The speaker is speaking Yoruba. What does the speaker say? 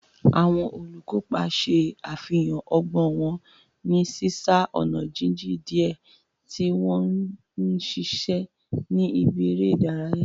Àwọn olùkópa ṣe àfihàn ọgbọ́n wọn ní ọ̀nà jíjìn díẹ̀ tí wọ́n ń ṣiṣẹ́ ní ibi eré ìdárayá.